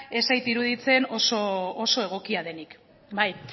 ez zait iruditzen oso egokia denik